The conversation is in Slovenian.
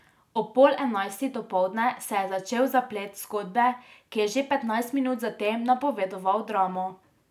Ob pol enajstih dopoldne se je začel zaplet zgodbe, ki je že petnajst minut zatem napovedoval dramo.